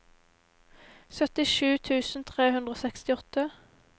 syttisju tusen tre hundre og sekstiåtte